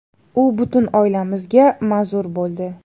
U butun oilamizga manzur bo‘ldi.